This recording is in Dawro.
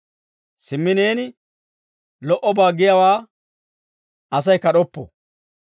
Simmi neeni lo"obaa giyaawaa Asay kad'oppo.